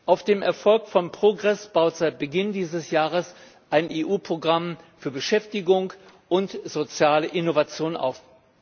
Auf dem Erfolg von Progress baut seit Beginn dieses Jahres ein EU Programm für Beschäftigung und soziale Innovation auf.